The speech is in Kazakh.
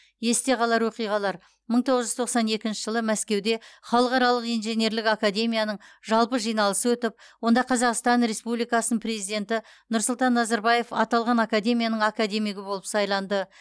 есте қалар оқиғалар мың тоғыз жүз тоқсан екінші жылы мәскеуде халықаралық инженерлік академияның жалпы жиналысы өтіп онда қазақстан республикасының президенті нұрсұлтан назарбаев аталған академияның академигі болып сайланды